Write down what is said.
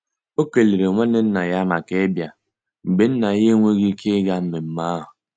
O kelere nwanne nna ya maka ịbia mgbe Nna ya enweghị ike ịga mmemme ahụ.